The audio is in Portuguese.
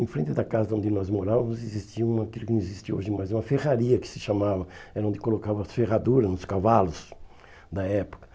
Em frente da casa onde nós morávamos existia uma aquilo que não existe hoje mais, uma ferraria que se chamava, era onde colocavam as ferraduras, nos cavalos da época.